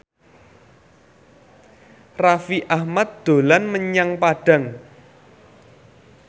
Raffi Ahmad dolan menyang Padang